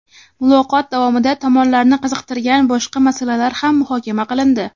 Muloqot davomida tomonlarni qiziqtirgan boshqa masalalar ham muhokama qilindi.